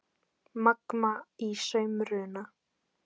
Magma í samruna